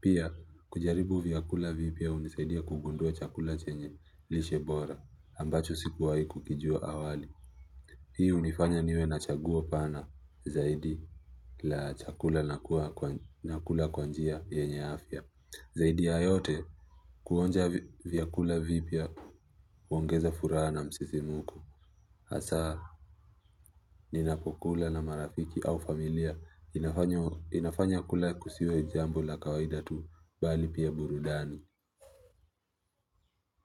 Pia, kujaribu vyakula vipya hunisaidia kugundua chakula chenye lishe bora, ambacho sikuwahi kukijua awali. Hii hunifanya niwe na chaguo pana zaidi la chakula nakula kwa njia yenye afya. Zaidi ya yote kuonja vyakula vipya huongeza furaha na msisimuko. Asa, ninapokula na marafiki au familia inafanya kula kusiwe jambo la kawaida tu bali pia burudani.